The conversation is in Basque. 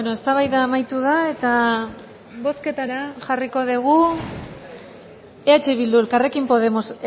eztabaida amaitu da eta bozketara jarriko dugu eh bildu elkarrekin podemos